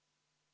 Soovite?